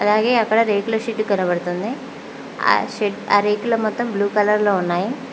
అలాగే అక్కడ రేకుల షెడ్డు కనబడుతుంది ఆ షెడ్ ఆ రేకులు మొత్తం బ్లూ కలర్ లో ఉన్నాయి.